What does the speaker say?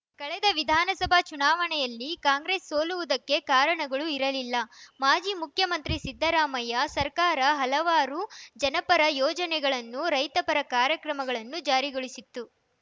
ಕಳೆದ ವಿಧಾನಸಭಾ ಚುನಾವಣೆಯಲ್ಲಿ ಕಾಂಗ್ರೆಸ್‌ ಸೋಲುವುದಕ್ಕೆ ಕಾರಣಗಳು ಇರಲಿಲ್ಲ ಮಾಜಿ ಮುಖ್ಯಮಂತ್ರಿ ಸಿದ್ದರಾಮಯ್ಯ ಸರ್ಕಾರ ಹಲವಾರು ಜನಪರ ಯೋಜನೆಗಳನ್ನು ರೈತಪರ ಕಾರ್ಯಕ್ರಮಗಳನ್ನು ಜಾರಿಗೊಳಿಸಿತ್ತು